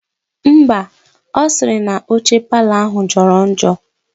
Ḿbà, osiri na oche parlour ahu joro njo.